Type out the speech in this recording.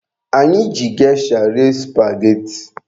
Anyị ji gesha rie supageti.